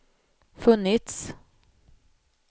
funnits